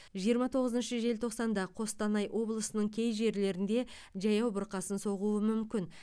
жиырма тоғызыншы желтоқсанда қостанай облысының кей жерлерінде жаяу бұрқасын соғуы мүмкін